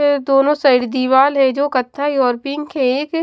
एै दोनों साइड दीवाल है जो कथाई और पिंक है एक --